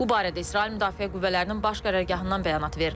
Bu barədə İsrail Müdafiə Qüvvələrinin baş qərargahından bəyanat verilib.